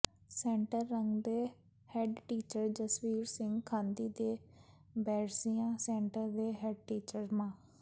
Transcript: centre Kang ਦੇ headteacher Jasvir Singh Thandi ਤੇ Bairsian centre ਦੇ ਹੈਡਟੀਚਰ ਮਾ